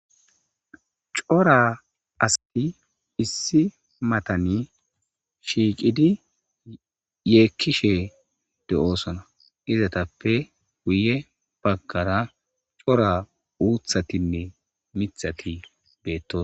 Cora asati issi mattan shiqqidi yekishe de'ossona izetappe guye baggara cora uuththatinne miththati bettossona.